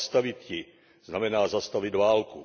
Zastavit ji znamená zastavit válku.